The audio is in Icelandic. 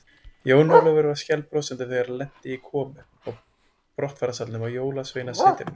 Jón Ólafur var skælbrosandi þegar hann lenti í komu og brottfararsalnum á Jólasveinasetrinu.